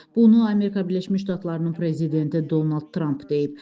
Bunu Amerika Birləşmiş Ştatlarının prezidenti Donald Tramp deyib.